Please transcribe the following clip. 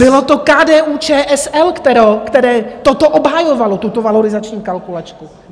Bylo to KDU-ČSL, které toto obhajovalo, tuto valorizační kalkulačku!